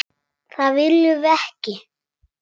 Það viljum við ekki.